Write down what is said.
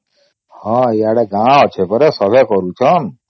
ହଁ ଆଡ଼େ ଗାଁ ଅଛେ ପରା ସବେ କରୁଛନ